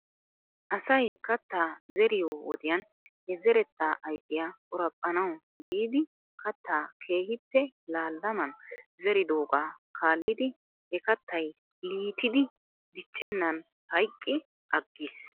Asay kattaa zeriyoo wodiyan he zettaa ayffiyaa qoraphphanawu giidi kattaa keehippe laallaman zeridoogaa kaalidi he kattay liyttidi diccennan hayqqi aggis.